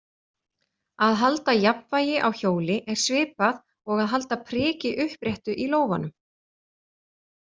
Að halda jafnvægi á hjóli er svipað og að halda priki uppréttu í lófanum.